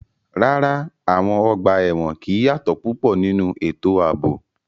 Rárá, àwọn ọgbà ẹ̀wọ̀n kì í yàtọ̀ púpọ̀ nínú ètò ààbò.